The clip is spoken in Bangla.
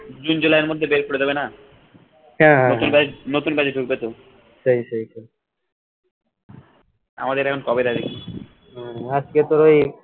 june july এর মধ্যে বের করে দেবে না নতুন batch নতুন batch ঢুকবে তো আমাদের এখন